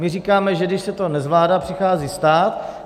My říkáme, že když se to nezvládá, přichází stát.